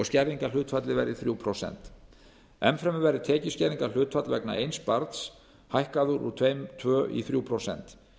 skerðingarhlutfallið verði þrjú prósent enn fremur verði tekjuskerðingarhlutfall vegna eins barns hækkað úr tveimur prósentum í þrjú prósent